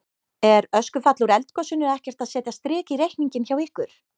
Er öskufall úr eldgosinu ekkert að setja strik í reikninginn hjá ykkur?